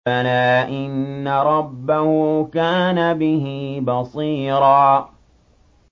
بَلَىٰ إِنَّ رَبَّهُ كَانَ بِهِ بَصِيرًا